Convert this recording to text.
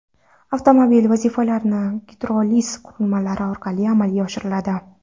Avtomobil vazifalari gidroliz qurilmalari orqali amalga oshiriladi.